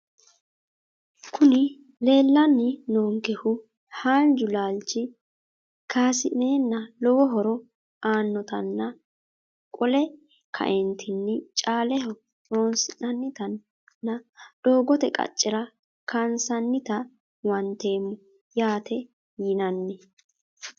Kuni leelani noonkehu haaanju laalichi kasineena lowo horo aanotanna qole kaeentini caaleho horonsinanita nna doogate qacera kaasinanita huwanteemo yaate yinani.